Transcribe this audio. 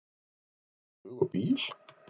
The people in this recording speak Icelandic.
Taka flug og bíl?